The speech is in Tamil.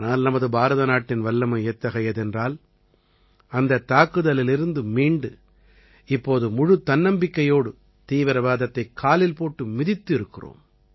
ஆனால் நமது பாரத நாட்டின் வல்லமை எத்தகையது என்றால் அந்தத் தாக்குதலிலிருந்து மீண்டு இப்போது முழுத் தன்னம்பிக்கையோடு தீவிரவாதத்தைக் காலில் போட்டு மிதித்து இருக்கிறோம்